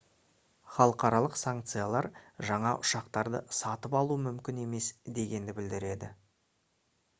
халықаралық санкциялар жаңа ұшақтарды сатып алу мүмкін емес дегенді білдіреді